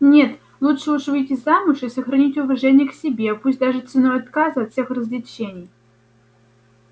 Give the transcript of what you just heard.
нет лучше уж выйти замуж и сохранить уважение к себе пусть даже ценой отказа от всех развлечений